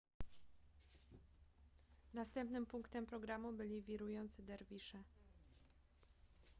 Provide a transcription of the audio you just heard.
następnym punktem programu byli wirujący derwisze